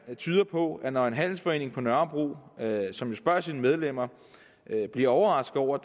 tyder på at når en handelsforening på nørrebro som jo spørger sine medlemmer bliver overrasket over